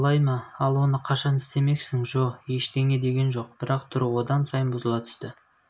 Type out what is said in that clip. солай ма ал оны қашан істемексің джо ештеңе деген жоқ бірақ түрі одан сайын бұзыла түсті